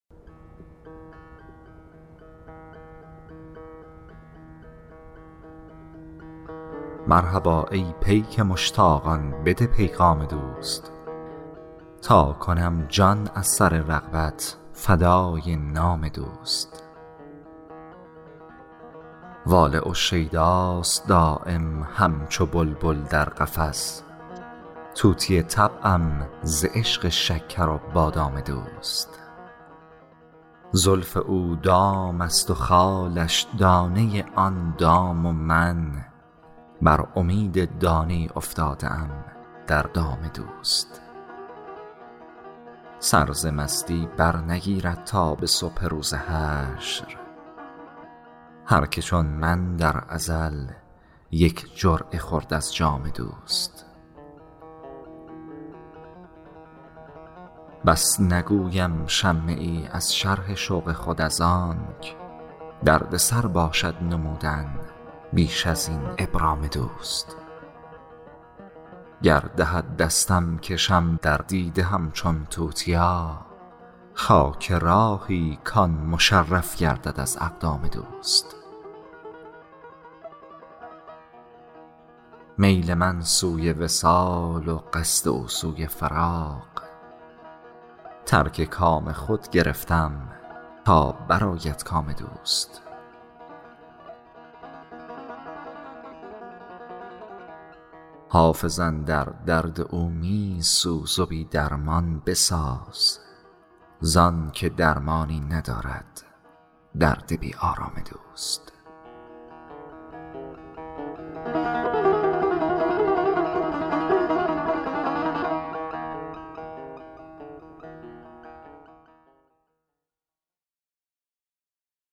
مرحبا ای پیک مشتاقان بده پیغام دوست تا کنم جان از سر رغبت فدای نام دوست واله و شیداست دایم همچو بلبل در قفس طوطی طبعم ز عشق شکر و بادام دوست زلف او دام است و خالش دانه آن دام و من بر امید دانه ای افتاده ام در دام دوست سر ز مستی برنگیرد تا به صبح روز حشر هر که چون من در ازل یک جرعه خورد از جام دوست بس نگویم شمه ای از شرح شوق خود از آنک دردسر باشد نمودن بیش از این ابرام دوست گر دهد دستم کشم در دیده همچون توتیا خاک راهی کـ آن مشرف گردد از اقدام دوست میل من سوی وصال و قصد او سوی فراق ترک کام خود گرفتم تا برآید کام دوست حافظ اندر درد او می سوز و بی درمان بساز زان که درمانی ندارد درد بی آرام دوست